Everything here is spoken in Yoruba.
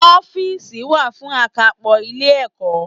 Ófììsì wá fún àkápò Ilé ẹ̀kọ́